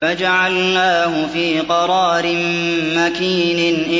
فَجَعَلْنَاهُ فِي قَرَارٍ مَّكِينٍ